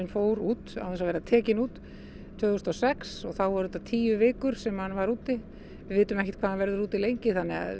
fór út án þess að vera tekinn út tvö þúsund og sex og þá tók þetta tíu vikur sem hann var úti við vitum ekkert hvað hann verður úti lengi